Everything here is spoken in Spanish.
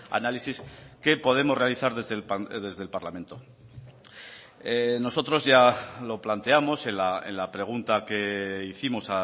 análisis que podemos realizar desde el parlamento nosotros ya lo planteamos en la pregunta que hicimos